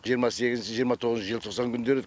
жиырма сегізінші жиырма тоғызыншы желтоқсан күндері